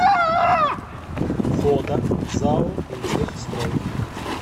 фото зао интехстрой